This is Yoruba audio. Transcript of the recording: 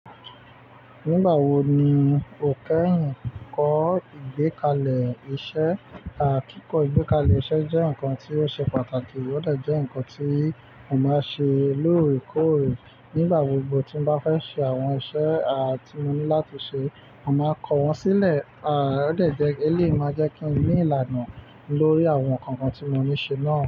Nígbà wo ni o kẹ́hìn kọ́ ìgbékalẹ̀ iṣẹ́? Kikọ ìgbékalẹ̀ iṣẹ́ jẹ́ nǹkan tí ó ṣe pàtàkì, ó de jẹ́ ǹkan tí mo máa ṣe lóòrèkóòrè nígbà gbogbo tí mo bá fẹ́ ṣe àwọn iṣẹ́ a tí mo ní láti ṣe. Mo máa kọ wọ́n sílẹ̀, a ó de jẹ́ elé máa jẹ́ kí n ní ìlànà lórí àwọn nǹkankan tí mo ní ṣe náà.